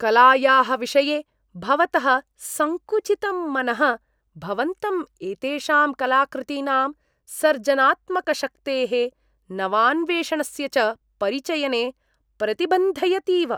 कलायाः विषये भवतः संकुचितं मनः भवन्तं एतेषां कलाकृतीनां सर्जनात्मकशक्तेः नवान्वेषणस्य च परिचयने प्रतिबन्धयतीव।